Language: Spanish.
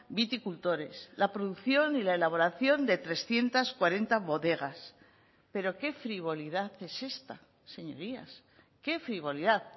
viticultores la producción y la elaboración de trescientos cuarenta bodegas pero qué frivolidad es esta señorías qué frivolidad